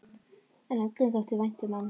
En öllum þótti vænt um hann.